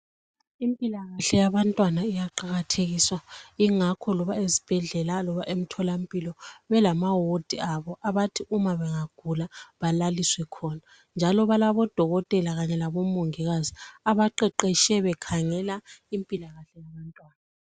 Impilakahle yabantwana iyaqakathekiswa kakhulu. Kungakho ezibhedlela kumbe emtholampilo belamawadi abo abathi uma bengagula balaliswe khona. Njalo balabodokotela kanye labomongikazi abaqeqetahe bekangela impilakahle yabantwana.